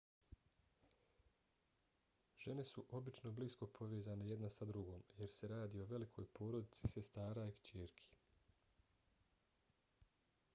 žene su obično blisko povezane jedna sa drugom jer se radi o velikoj porodici sestara i kćerki